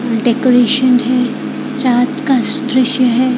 Decoration है रात का दृश्य है।